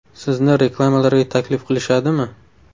Sizni reklamalarga taklif qilishadimi?